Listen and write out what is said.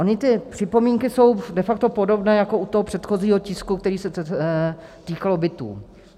Ony ty připomínky jsou de facto podobné jako u toho předchozího tisku, který se týkal bytů.